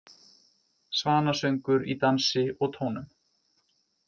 Svanasöngur í dansi og tónum